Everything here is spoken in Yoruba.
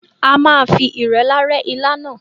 À máa fi irẹlá rẹ ilá náà.